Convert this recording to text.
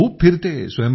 मी खूप फिरते